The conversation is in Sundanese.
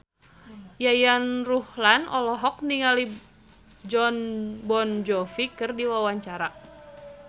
Yayan Ruhlan olohok ningali Jon Bon Jovi keur diwawancara